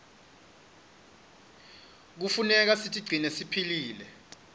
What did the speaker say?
knefuneka sitigcine siphilile